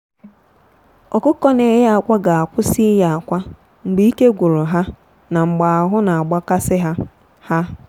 ọkụkọ na-eye akwa ga-akwụsị ịye akwa mgbe ike gwuru ha na mgbe ahụ na-agba kasị ha. ha.